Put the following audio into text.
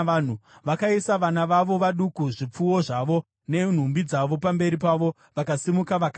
Vakaisa vana vavo vaduku, zvipfuwo zvavo nenhumbi dzavo pamberi pavo, vakasimuka vakaenda.